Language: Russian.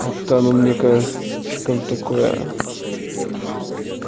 как то оно мне кажется слишком такое